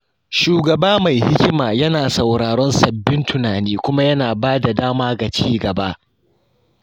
Shugaba mai hikima yana sauraron sabbin tunani kuma yana ba da dama ga ci gaba.